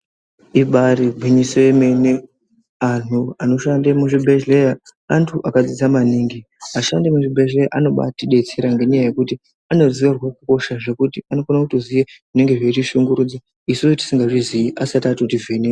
Ibari gwinyiso yemene antu anoshande muzvibhehlera antu akadzidza maningi. Ashandi emuzvibhehleya anotidetsera ngenyaya yekuti anoziya hosha zvekuti anokona kutoziya zvinotishungurudza isusu tisingazviziyi asati atoti vheneka.